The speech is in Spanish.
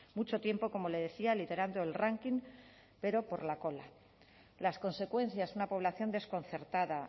mucho tiempo como le decía liderando el ranking pero por la cola las consecuencias una población desconcertada